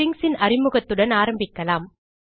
stringsன் அறிமுகத்துடன் ஆரம்பிக்கலாம்